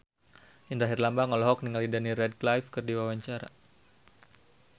Indra Herlambang olohok ningali Daniel Radcliffe keur diwawancara